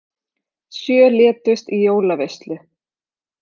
Sjö létust í jólaveislu